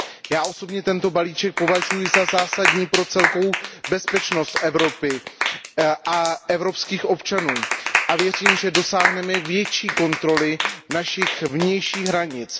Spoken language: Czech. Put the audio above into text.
Já osobně považuji balíček za zásadní pro celkovou bezpečnost Evropy a evropských občanů. Věřím, že dosáhneme větší kontroly našich vnějších hranic.